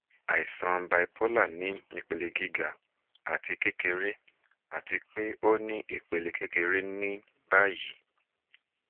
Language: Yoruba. aisan bipolar ni ipele giga ati kekere ati pe o ni ipele kekere ni bayi